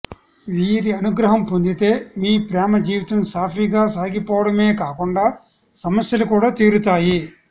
వీరి అనుగ్రహం పొందితే మీ ప్రేమ జీవితం సాఫీగా సాగిపోవడమే కాకుండా సమస్యలు కూడా తీరుతాయి